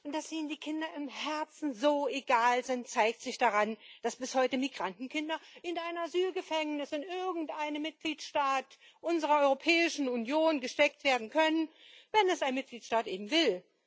Und dass Ihnen die Kinder im Herzen so egal sind, zeigt sich daran, dass bis heute Migrantenkinder in ein Asylgefängnis in irgendeinem Mitgliedstaat unserer Europäischen Union gesteckt werden können wenn es ein Mitgliedstaat eben will.